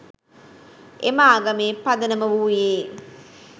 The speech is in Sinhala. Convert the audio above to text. එම ආගමේ පදනම වූයේ